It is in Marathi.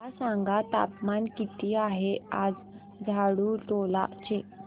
मला सांगा तापमान किती आहे आज झाडुटोला चे